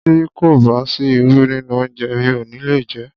Tí kò bá sí irú nínú oúnjẹ mi ò ní le jé.